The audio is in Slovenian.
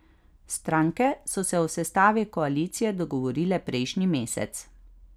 Stranke so se o sestavi koalicije dogovorile prejšnji mesec.